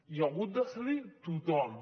i ha hagut de cedir tothom